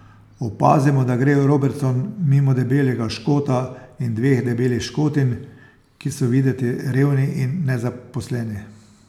Opazimo, da gre Robertson mimo debelega Škota in dveh debelih Škotinj, ki so videti revni in nezaposleni.